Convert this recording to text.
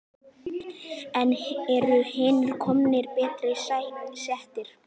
En eru hinir nokkru betur settir?